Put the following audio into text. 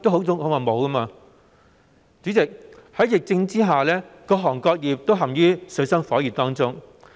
主席，在疫情下，各行各業均陷於水深火熱中。